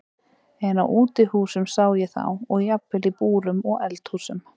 En á útihúsum sá ég þá og jafnvel í búrum og eldhúsum.